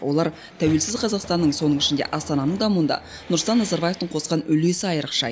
олар тәуелсіз қазақстанның соның ішінде астананың дамуында нұрсұлтан назарбаевтың қосқан үлесі айырықша